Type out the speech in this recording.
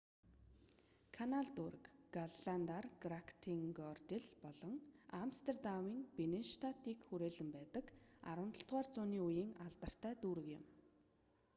канал дүүрэг голландаар: грактенгордел бол амстердамын бинненштадыг хүрээлэн байдаг 17-р зууны үеийн алдартай дүүрэг юм